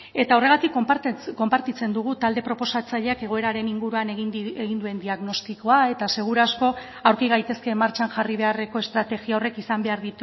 eta horregatik konpartitzen dugu talde proposatzaileak egoeraren inguruan egin duen diagnostikoa eta seguru asko aurki gaitezke martxan jarri beharreko estrategia horrek izan behar